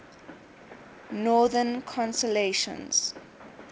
northern constellations